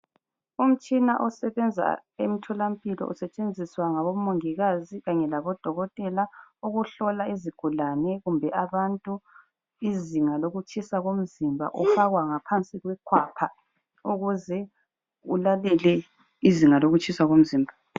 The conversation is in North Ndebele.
Umtshina osebenza emtholampilo , usetshenziswa ngabomongikazi kanye labodokotela ukuhlola izigulane kumbe abantu, izinga lokutshisa komzimba ufakwa ngaphansi kwekhwapha ukuze ulalele izinga lokutshisa komzimba.